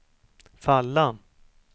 falla